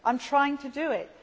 I am trying to do it.